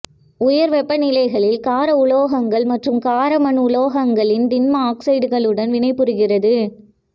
உயர் வெப்பநிலைகளில் கார உலோகங்கள் மற்றும் காரமண் உலோகங்களின் திண்ம ஆக்சைடுகளுடன் வினை புரிகிறது